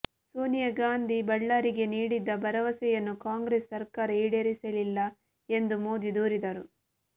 ಸೋನಿಯಾಗಾಂಧಿ ಬಳ್ಳಾರಿಗೆ ನೀಡಿದ್ದ ಭರವಸೆಯನ್ನು ಕಾಂಗ್ರೆಸ್ ಸರ್ಕಾರ ಈಡೇರಿಸಿಲ್ಲ ಎಂದು ಮೋದಿ ದೂರಿದರು